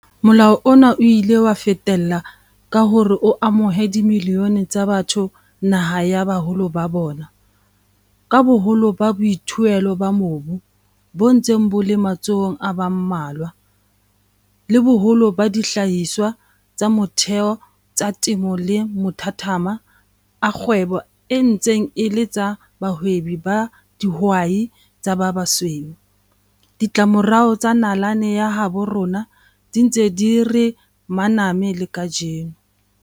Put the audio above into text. Molao ona o ile wa fetella ka hore o amohe dimilione tsa batho naha ya baholoholo ba bona. Ka boholo ba boithuelo ba mobu bo ntseng bo le matsohong a ba mmalwa, le boholo ba dihlahiswa tsa motheo tsa temo le mathathamo a kgwebo e ntse e le tsa bahwebi ba dihwai tsa ba basweu, ditlamorao tsa nalane ya habo rona di ntse di re maname le kajeno.